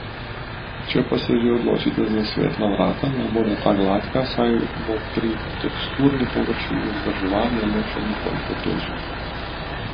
Če pa se že odločite za svetla vrata, naj bodo ta gladka, saj bo pri teksturirani površini vzdrževanje le še nekoliko težje.